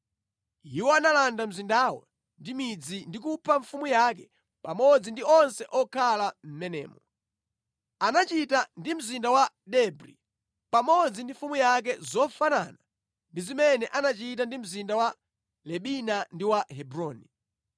Iwo analanda mzindawo ndi midzi ndi kupha mfumu yake pamodzi ndi onse okhala mʼmenemo. Anachita ndi mzinda wa Debri pamodzi ndi mfumu yake zofanana ndi zimene anachita ndi mzinda wa Libina ndi wa Hebroni.